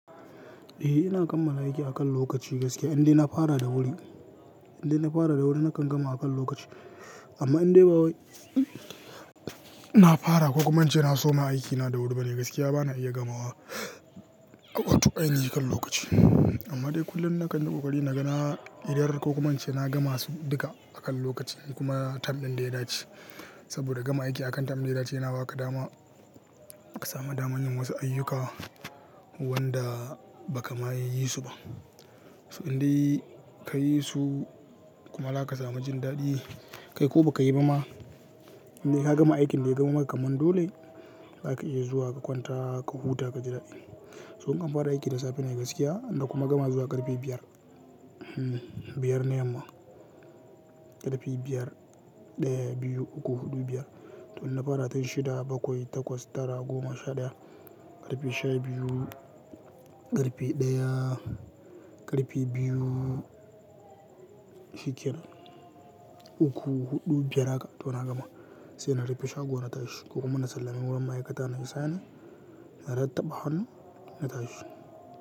Eh ina kammala aiki akan lokaci gaskiya in dai na fara da wuri, in dai na fara da wuri na kan gama akan lokaci amma in dai ba na fara kokuma ince na soma aikina da wuri ba ne gaskiya bana iya gamawa wato ainihin akan lokaci. Amma dai kullum na kan yi ƙoƙari na ga na idar ko kuma in ce na gama su duka akan lokaci kuma tam ɗin da ya dace saboda gama aiki a kan tam ɗin da ya dace yana ba ka dama ka samu daman yin wasu ayyuka wanda ba ka ma yiyyi su ba. So in dai ka yi su kuma za samu jin daɗi kai ko ba ka yi ba ma indai ka gama aikin da ya zama maka kamar dole zaka iya zuwa ka kwanta ka huta ka ji daɗi. To in kan fara aiki da safe ne gaskiya na kuma gama zuwa ƙarfe biyar, biyar ne yamma ƙarfe biyar ɗaya, biyu, uku, huɗu, biyar to ina fara tan shida bakwai takwas tara goma sha ɗaya ƙarfe sha biyu ƙarfe ɗaya ƙarfe biyu shi kenan uku huɗu biyar haka to na gama sai na rufe shago na tashi kuma na sallami wurin ma'aikata na yi sainin na ratabba hannu na tashi.